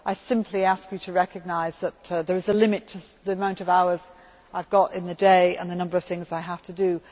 I simply ask you to recognise that there is a limit to the amount of hours I have got in the day and the number of things I can do.